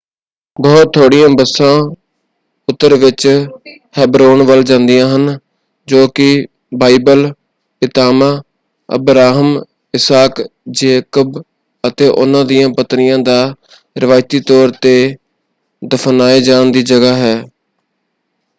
ਬਹੁਤ ਥੋੜ੍ਹੀਆਂ ਬੱਸਾਂ ਉੱਤਰ ਵਿੱਚ ਹੈਬਰੋਨ ਵੱਲ ਜਾਂਦੀਆਂ ਹਨ ਜੋ ਕਿ ਬਾਈਬਲ ਪਿਤਾਮਾ ਅਬਰਾਹਮ ਇਸਾਕ ਜੇਕਬ ਅਤੇ ਉਹਨਾਂ ਦੀਆਂ ਪਤਨੀਆਂ ਦਾ ਰਿਵਾਇਤੀ ਤੌਰ 'ਤੇ ਦਫ਼ਨਾਏ ਜਾਣ ਦੀ ਜਗ੍ਹਾ ਹੈ।